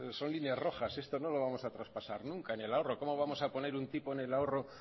son líneas rojas esto no lo vamos a traspasar nunca en el ahorro cómo vamos a poner un tipo en el ahorro